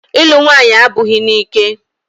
Ịlụ nwaanyị abụghị n'ike.